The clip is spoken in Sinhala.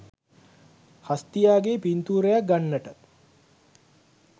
හස්තියාගේ පින්තූරයක් ගන්නට